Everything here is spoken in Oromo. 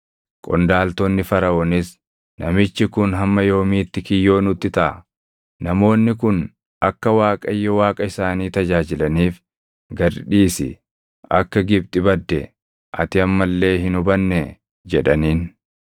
Qondaaltonni Faraʼoonis, “Namichi kun hamma yoomiitti kiyyoo nutti taʼa? Namoonni kun akka Waaqayyo Waaqa isaanii tajaajilaniif gad dhiisi. Akka Gibxi badde ati amma illee hin hubannee?” jedhaniin.